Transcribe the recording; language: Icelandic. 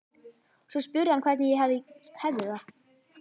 Svo spurði hann hvernig ég hefði það.